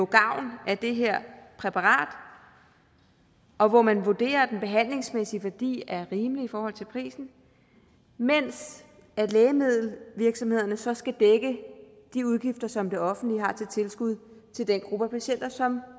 gavn af det her præparat og hvor man vurderer at den behandlingsmæssige værdi er rimelig i forhold til prisen mens lægemiddelvirksomhederne så skal dække de udgifter som det offentlige har til tilskud til den gruppe af patienter som